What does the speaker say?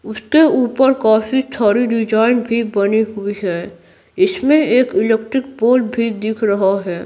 उसके ऊपर काफी थाड़ी डिजाइन भी बनी हुई है इसमें एक इलेक्ट्रिक पोल भी दिख रहा है।